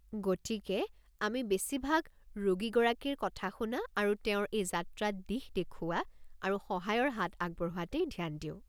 গতিকে আমি বেছিভাগ ৰোগীগৰাকীৰ কথা শুনা আৰু তেওঁৰ এই যাত্ৰাত দিশ দেখুওৱা আৰু সহায়ৰ হাত আগবঢ়োৱাতেই ধ্যান দিওঁ।